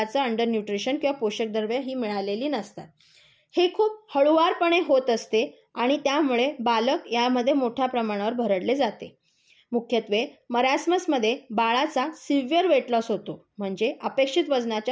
Under nutrition किंवा पोषक द्रव्ये ही मिळालेली नसतात. हे खूप हळुवारपणे होत असते. आणि त्यामुळे बालक यामध्ये मोठ्या प्रमाणावर भरडले जाते. मुख्यत्वे मरासमसमध्ये बाळाचा सिव्हियर वेट लॉस होतो. म्हणजे अपेक्षित वजनाच्या